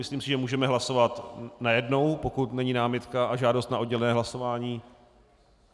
Myslím si, že můžeme hlasovat najednou, pokud není námitka a žádost na oddělené hlasování.